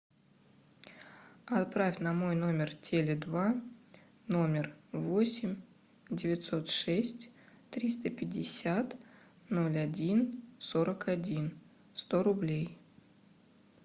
отправь на мой номер теле два номер восемь девятьсот шесть триста пятьдесят ноль один сорок один сто рублей